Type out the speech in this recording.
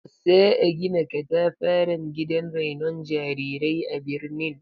Za'a gina katafaren gidan rainon jarirai a birnin